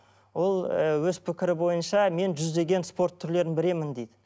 ол ы өз пікірі бойынша мен жүздеген спорт түрлерін білемін дейді